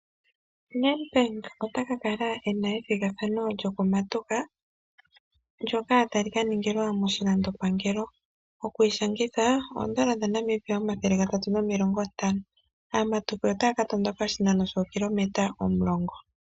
Nedbank ota kakala ena ethigathano lyokumatuka ndyoka tali kaningilwa moshilandopangelo. Okwiishanitha N$350. Aamatuki otaya katondoka oshinano shookilometa 10.